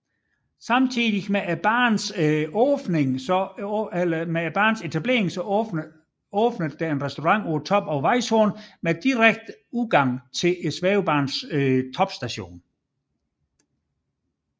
Samtidig med banens etablering åbnede en restaurant på toppen af Weisshorn med direkte adgang ud til svævebanens topstation